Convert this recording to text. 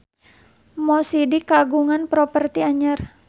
Mo Sidik kagungan properti anyar